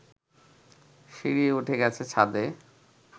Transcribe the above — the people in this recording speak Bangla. সিঁড়ি উঠে গেছে ছাদে